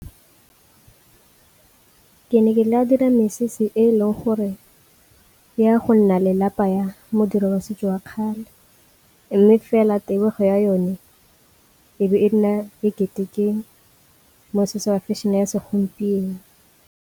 Ke ne ke tla dira mesese e leng gore ya go nna le lapa ya modiro wa setso wa kgale, mme fela tebego ya yone e be e nna e kete ke mosese wa fashion-e ya segompieno.